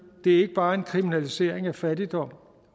ikke bare en kriminalisering af fattigdom